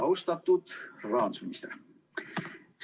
Austatud rahandusminister!